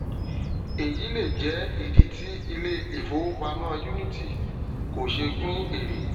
eyi lè jẹ ìdí tí ilé ifówopàmọ unity kò ṣe pín ère